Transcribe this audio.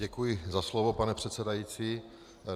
Děkuji za slovo, pane předsedající.